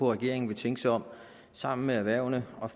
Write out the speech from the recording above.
regeringen vil tænke sig om og sammen med erhvervene